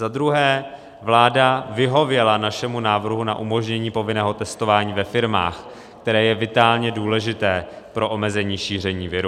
Za druhé, vláda vyhověla našemu návrhu na umožnění povinného testování ve firmách, které je vitálně důležité pro omezení šíření viru.